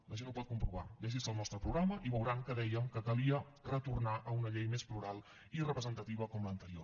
la gent ho pot comprovar llegir se el nostre programa i veuran que dèiem que calia retornar a una llei més plural i representativa com l’anterior